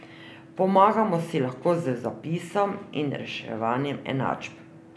Pomagamo si lahko z zapisom in reševanjem enačb.